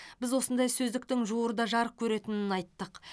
біз осындай сөздіктің жуырда жарық көретінін айттық